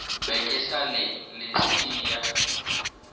be ke sa le lesea